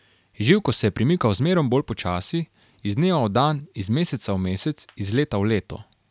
Živko se je premikal zmerom bolj počasi, iz dneva v dan, iz meseca v mesec, iz leta v leto.